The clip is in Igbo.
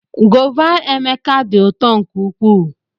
Gova Emeka dị ụtọ nke ukwuu.